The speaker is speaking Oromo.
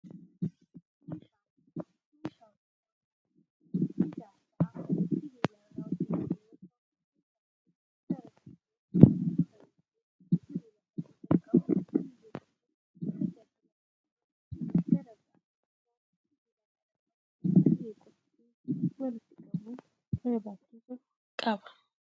Meeshaan kun, meeshaa hojii qonnaa fi ijaarsaa sibiila irraa hojjatame yoo ta'u, meeshaan kun gara tokkoon gurra yokin sibiila sadii kan qabu biyyee qotuuf tajaajila akkasumas gara biraatin immoo sibiila qara qabu biyyee qotuu fi walitti qabuuf barbaachisu qaba.